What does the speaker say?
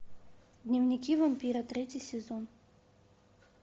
дневники вампира третий сезон